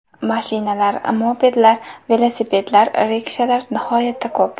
Mashinalar, mopedlar, velosipedlar, rikshalar nihoyatda ko‘p.